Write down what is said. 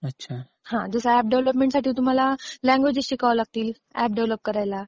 जसं ऍप डेव्हलपमेंटसाठी तुम्हाला लँग्वेजेस शिकावे लागतील एप डेव्हलप करायला .